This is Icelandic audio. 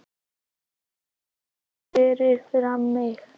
Nam svo staðar fyrir framan mig.